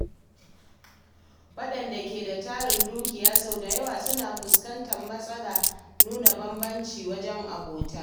Wadanda ke da tarin dukiya sau da yawa suna fuskantar matsalar nuna bambanci wajen abota.